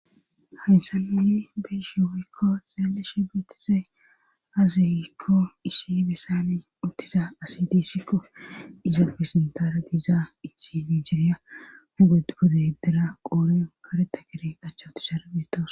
Haysssa miyi beishe woykko xeeleshe bettise aziykko issi besani uttiza asidissikko iza pisintaara diiza ichi miijeriya huged bode hiddera qooreo kareta gere achchawuti sharbetowos.